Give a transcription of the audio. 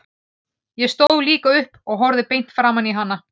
Ég stóð líka upp og horfði beint framan í hana.